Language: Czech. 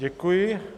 Děkuji.